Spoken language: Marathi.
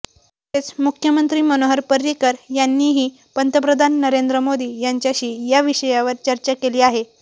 तसेच मुख्यमंत्री मनोहर पर्रीकर यांनीही पंतप्रधान नरेंद्र मोदी यांच्याशी या विषयावर चर्चा केली आहे